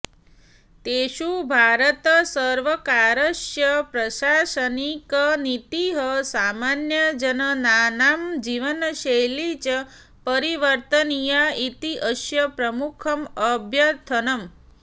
तेषु भारतसर्वकारस्य प्रशासनिकनीतिः सामान्यजनानां जीवनशैली च परिवर्तनीया इति अस्य प्रमुखम् अभ्यर्थनम्